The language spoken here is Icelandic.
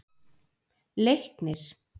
Leiknir